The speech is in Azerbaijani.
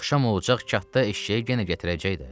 Axşam olacaq katda eşşəyi yenə gətirəcək də.